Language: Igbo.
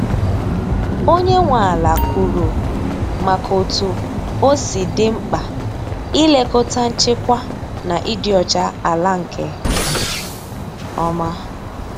Onye nwe ala kwuru maka otú osi di mkpa ị lekọta nchekwa na ịdị ọcha ala nke ọma.